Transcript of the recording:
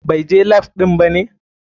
BAI je lap ɗin bane?